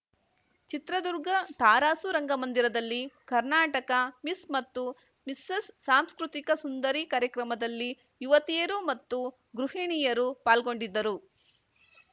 ಚಿತ್ರದುರ್ಗ ತರಾಸು ರಂಗಂದಿರದಲ್ಲಿ ಕರ್ನಾಟಕ ಮಿಸ್‌ ಮತ್ತು ಮಿಸೆಸ್‌ ಸಾಂಸ್ಕೃತಿಕ ಸುಂದರಿ ಕಾರ್ಯಕ್ರಮದಲ್ಲಿ ಯುವತಿಯರು ಮತ್ತು ಗೃಹಿಣಿಯರು ಪಾಲ್ಗೊಂಡಿದ್ದರು